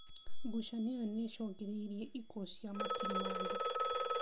Ngucanio ĩyo nĩ ĩcũngĩrĩirie ikuũ cia makiri ma andũ.